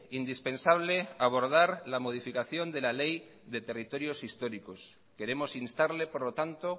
indispensable abordar la modificación de la ley de territorios históricos queremos instarle por lo tanto